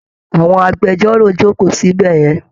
Àwọn agbẹjọ́rò ń jókòó síbẹ̀ yẹn